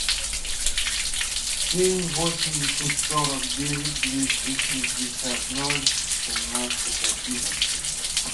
семь восемьдесят сорок девять двести шестьдесят ноль семнадцать одиннадцать